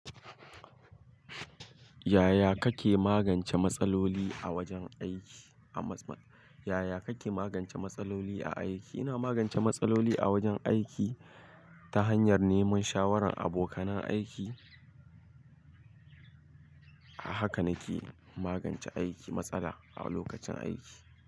Yaya kake magance matsaloli a wajen aiki? A mas-mas, yaya kake magance matsaloli a aiki? Ina magance matsaloli a wajen aiki ta hanyar neman shawaran abokanan aiki. Haka nake magance aiki, matsala a lokacin aiki.